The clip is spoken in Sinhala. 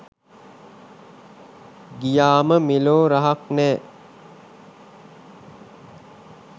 ගියාම මෙලෝ රහක් නැ